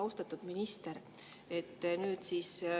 Austatud minister!